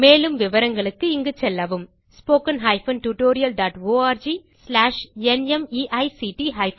மேலும் விவரங்களுக்கு இங்கு செல்லவும் httpspoken tutorialorgNMEICT Intro